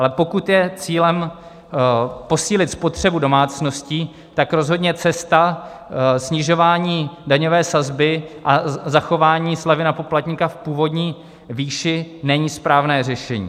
Ale pokud je cílem posílit spotřebu domácností, tak rozhodně cesta snižování daňové sazby a zachování slevy na poplatníka v původní výši není správné řešení.